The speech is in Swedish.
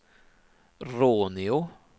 Råneå